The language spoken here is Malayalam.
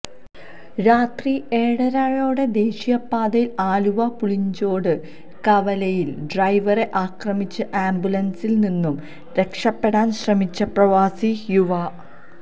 രാത്രി ഏഴരയോടെ ദേശീയപാതയിൽ ആലുവ പുളിഞ്ചോട് കവലയിൽ ഡ്രൈവറെ ആക്രമിച്ച് ആംബുലൻസിൽ നിന്നും രക്ഷപ്പെടാൻ ശ്രമിച്ച പ്രവാസി യുവാ